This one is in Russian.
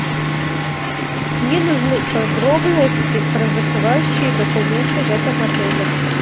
мне нужны подробности про закрывающие документы в этом отеле